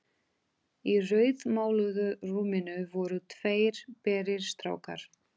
Í rauðmáluðu rúminu voru tveir berir strákar.